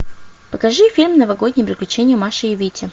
покажи фильм новогодние приключения маши и вити